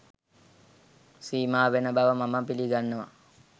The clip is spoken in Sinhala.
සීමා වෙන බව මම පිළිගන්නවා